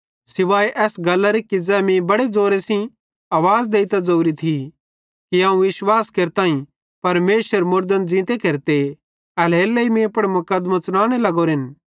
सुवाए इस गल्लरे कि ज़ै मीं बड़े ज़ोरे सेइं आवाज़ देइतां ज़ोरी थी कि अवं ई विश्वास केरताईं परमेशरे मुड़दन ज़ींते केरते एल्हेरेलेइ मीं पुड़ मुकदमों च़लाने लगोरेंन